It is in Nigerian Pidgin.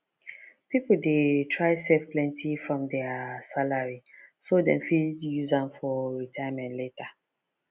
people dey try save plenty from dia salary so dem fit use am for retirement later